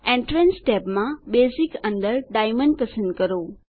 entrance ટેબમાં basic અંદર diamond પસંદ કરો